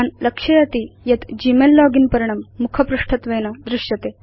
भवान् लक्षयति यत् ग्मेल लोगिन् पर्णं मुखपृष्ठत्वेन दृश्यते